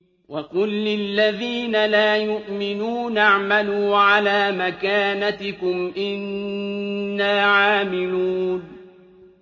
وَقُل لِّلَّذِينَ لَا يُؤْمِنُونَ اعْمَلُوا عَلَىٰ مَكَانَتِكُمْ إِنَّا عَامِلُونَ